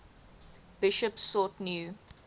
bishops sought new